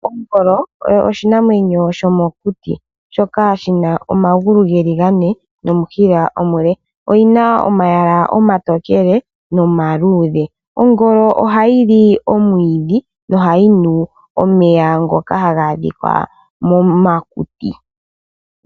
Ongolo oyo oshinamwenyo shomokuti shoka shina omagulu geli gane nomushila omule, oyina omayala omatokele nomaluudhe. Ongolo ohayi li omwiidhi nohayi nu omeya ngoka haga adhika momakuti.